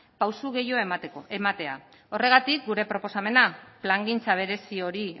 pauso gehiago ematea horregatik gure proposamena plangintza berezi hori